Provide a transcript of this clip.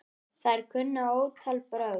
Þær kunna ótal brögð.